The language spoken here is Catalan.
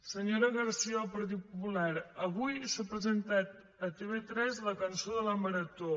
senyora garcía del partit popular avui s’ha presentat a tv3 la cançó de la marató